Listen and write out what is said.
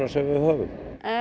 sem við höfum